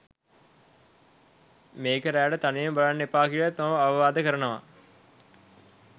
මේක රෑට තනියම බලන්න එපා කියලත් මම අවවාද කරනවා.